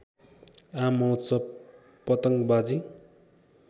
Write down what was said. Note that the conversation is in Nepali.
आम महोत्सव पतंगबाजी